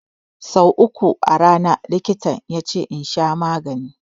So uku a rana likitan yace in sha maganin.